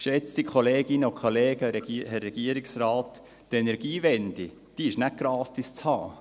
Geschätzte Kolleginnen und Kollegen, Herr Regierungsrat, die Energiewende ist nicht gratis zu haben!